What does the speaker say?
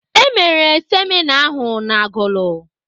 E mere semịna ahụ n'Agụlụ.